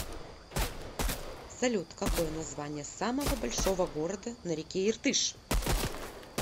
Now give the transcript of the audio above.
салют какое название самого большого города на реке иртыш